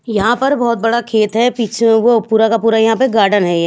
यहां पर बहुत बड़ा खेत है पीछे में वो पूरा का पूरा यहां पे गार्डन हैय--